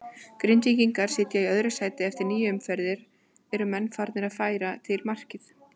Grindvíkingar sitja í öðru sæti eftir níu umferðir, eru menn farnir að færa til markmið?